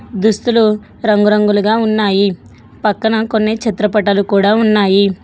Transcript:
దుస్తులు రంగురంగులుగా ఉన్నాయి పక్కన కొన్ని చిత్రపటాలు కూడా ఉన్నాయి.